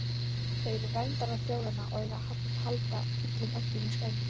Þau eru verndarar þjóðanna og eiga að halda illum öflum í skefjum.